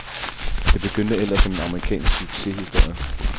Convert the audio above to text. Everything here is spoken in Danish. Det begyndte ellers som en amerikansk succeshistorie.